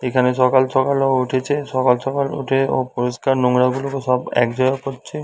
এখানে সকাল সকাল ও উঠেছে সকাল সকাল উঠে ও পরিষ্কার নোংরাগুলোকে সব এক জায়গায় করছে--